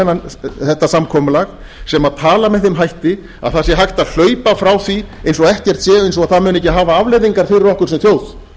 að gagnrýna þetta samkomulag sem tala með þeim hætti að það sé hægt að hlaupa frá því eins og ekkert gerist og það muni ekki hafa afleiðingar fyrir okkur sem þjóð